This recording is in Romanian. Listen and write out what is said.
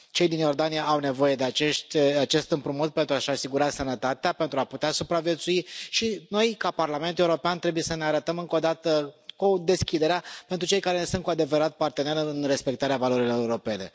Cei din Iordania au nevoie de acest împrumut pentru a și asigura sănătatea, pentru a putea supraviețui și noi, ca Parlament European, trebuie să ne arătăm, încă odată, cu deschiderea pentru cei care sunt cu adevărat partener în respectarea valorilor europene.